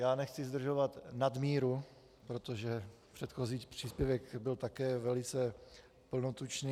Já nechci zdržovat nadmíru, protože předchozí příspěvek byl také velice plnotučný.